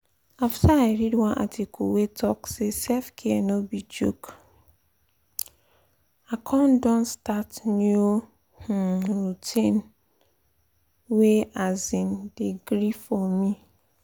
after i read one article wey talk say self-care no be joke i um don start new um routine wey um dey gree for me.